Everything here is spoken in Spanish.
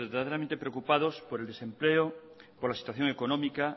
verdaderamente preocupados por el desempleo por la situación económica